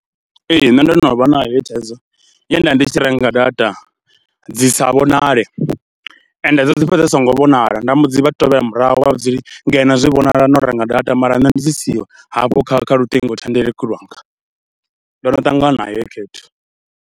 Ee nṋe ndo no vha na heyi thaidzo, ye nda ndi tshi renga data dzi sa vhonale, ende dzi fhedza dzi songo vhonala, nda mbo dzi vha tevhela murahu nda vha vhudza zwo ri no zwi vhona na u renga data mara dzi siho hafho kha kha luṱingothendeleki lwanga, ndo no ṱangana nayo heyi khaedu.